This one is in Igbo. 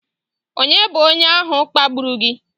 Ònye bụ onye ahụ kpagburu gị?